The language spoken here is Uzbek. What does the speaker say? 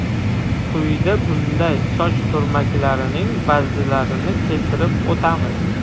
Quyida bunday soch turmaklarining ba’zilarini keltirib o‘tamiz.